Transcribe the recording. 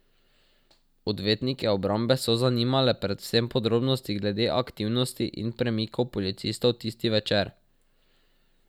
Odvetnike obrambe so zanimale predvsem podrobnosti glede aktivnosti in premikov policistov tisti večer.